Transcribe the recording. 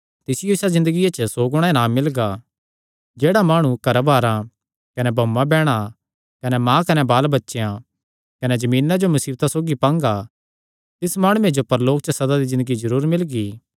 कने तिसियो इसा ज़िन्दगिया च सौ गुणा इनाम मिलगा घराबारां कने भाऊआंबैहणा कने माँ कने बालबच्चेयां कने जमीना जो मुसीबतां सौगी पांगा तिस माणुये जो परलोक च सदा दी ज़िन्दगी जरूर मिलणी ऐ